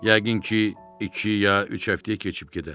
Yəqin ki, iki ya üç həftəyə keçib gedər.